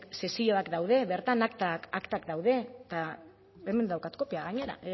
sesioak daude bertan aktak daude eta hemen daukat kopia gainera